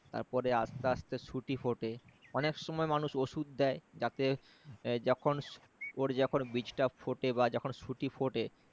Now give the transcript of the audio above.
তার পরে আস্তে আস্তে সুঁটি ফোটে অনেক সময় মানুষ ওষুধ দেয় যাতে যখন ওর যখন বীজটা ফোটে বা যখন সুঁটি ফোটে